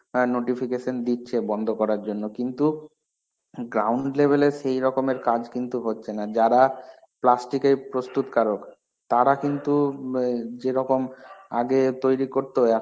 হ্যাঁ notification দিচ্ছে বন্ধ করার জন্যে, কিন্তু ground level এ সেরকমের কাজ কিন্তু হচ্ছে না যারা plastick এর প্রস্তুতকারক. তারা কিন্তু ম যেরকম আগে তৈরী করতো